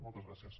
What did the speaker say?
moltes gràcies